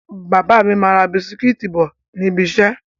Bàbá mi máa ra bisikítì bọ̀ níbi ìṣẹ́.